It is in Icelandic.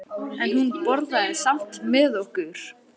En hún borðaði samt með okkur.